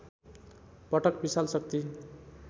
पटक विशाल शक्ति